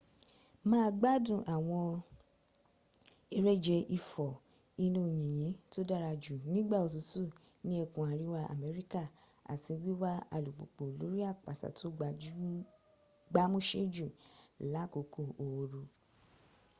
má a gbádùn àwọn eréje ìfò inú yìnyín tó dára jù nígbà òtútù ní ẹkùn àríwá america àti wíwa alupùpù lórí àpáta to gbámúsé jù lákòókò ooru